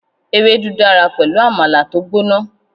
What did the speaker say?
Ewédú dára pẹ̀lú Àmàlà tó gbóná.